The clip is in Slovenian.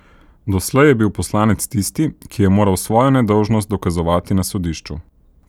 Doslej je bil poslanec tisti, ki je moral svojo nedolžnost dokazovati na sodišču.